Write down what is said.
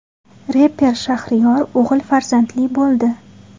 Reper Shahriyor o‘g‘il farzandli bo‘ldi.